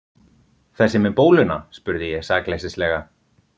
Þessi með bóluna? spurði ég sakleysislega.